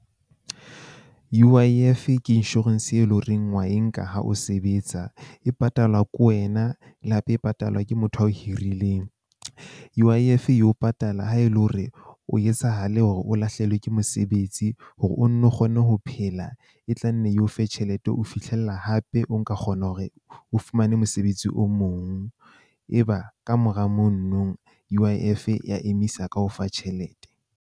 U_I_F ke insurance e leng horeng wa e nka ha o sebetsa. E patalwa ke wena, le hape e patalwa ke motho a o hirileng. U_I_F e o patala ha e le hore o etsahale hore o lahlehelwe ke mosebetsi. Hore o nno kgone ho phela e tlanne eo fe tjhelete, ho fihlella hape o nka kgona hore o fumane mosebetsi o mong. Eba kamora mono nong U_I_ F-e ya emisa ka ho ofa tjhelete.